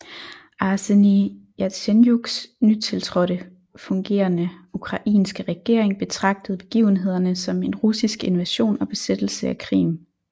Arsenij Jatsenjuks nytiltrådte fungerende ukrainske regering betragtede begivenhederne som en russisk invasion og besættelse af Krim